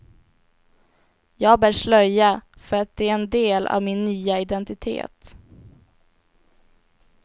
Jag bär slöja för att det är en del av min nya identitet.